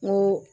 N ko